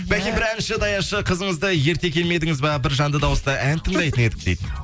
бәке бір әнші даяшы қызыңызды ерте келмедіңіз бе бір жанды дауыста ән тыңдайтын едік дейді